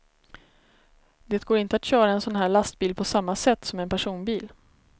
Det går inte att köra en sån här lastbil på samma sätt som en personbil.